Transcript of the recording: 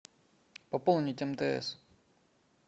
пополнить мтс